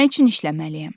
Nə üçün işləməliyəm?